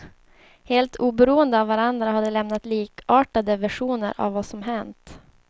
Helt oberoende av varandra har de lämnat likartade versioner av vad som hänt.